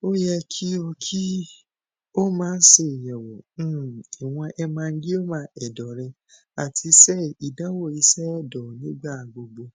o yẹ ki o ki o maa seyẹwo um iwọn hemangioma ẹdọ rẹ ati ṣe idanwo iṣẹ ẹdọ nigbagbogbo